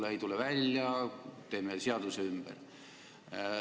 Kui ei tule välja, teeme seaduse ümber!